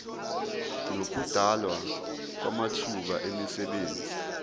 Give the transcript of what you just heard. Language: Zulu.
nokudalwa kwamathuba emisebenzi